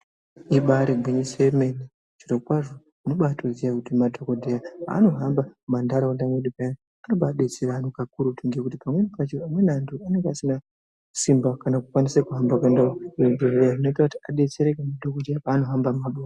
Ibari gwinyisi yemene zviro kwazvo unotoziya kuti madhokodheya paanohamba mumantaraunda medu paya anobaa detsera antu kakurutu ngekuti pamweni pacho amweni antu anenga asina simba kana kukwanise kuhamba kuende kuzvibhedhkeya zvinoite kuti adetsereke madhokodheya paanohamba mumabuya.